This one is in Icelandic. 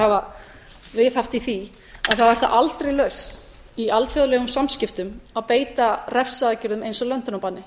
hafa viðhaft í því er það aldrei lausn í alþjóðlegum samskiptum að beita refsiaðgerðum eins og löndunarbanni